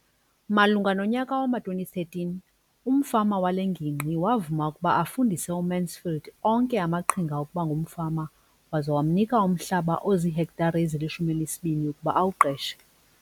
Malunga nonyaka wama-2013, umfama wale ngingqi wavuma ukuba afundise uMansfield onke amaqhinga okuba ngumfama waza wamnika umhlaba ozihektare ezili-12 ukuba awuqeshe.